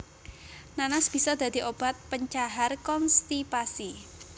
Nanas bisa dadi obat pencahar konstipasi